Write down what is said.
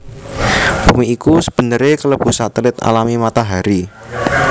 Bumi iku sebenere kelebu satelit alami Matahari